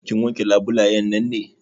Kin wanke labulayen nan ne?